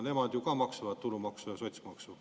Nemad ju ka maksavad tulumaksu ja sotsiaalmaksu.